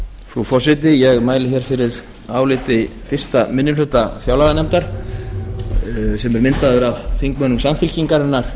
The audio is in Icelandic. frú forseti ég mæli hér fyrir áliti fyrsti minni hluta fjárlaganefndar sem er myndaður af þingmönnum samfylkingarinnar